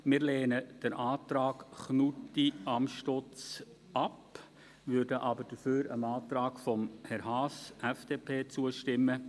Wir lehnen den Antrag Knutti/Amstutz ab, würden aber dafür dem Antrag von Herrn Haas, FDP, zustimmen.